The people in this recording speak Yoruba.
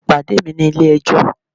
E pade mi ni Ile ejó!